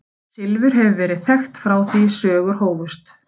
Silfur hefur verið þekkt frá því sögur hófust.